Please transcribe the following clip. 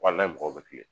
Wali mɔgɔw bɛ kilen